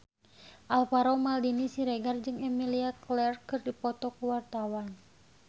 Alvaro Maldini Siregar jeung Emilia Clarke keur dipoto ku wartawan